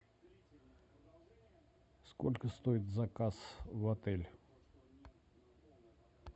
сколько стоит заказ в отель